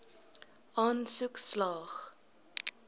aansoek slaag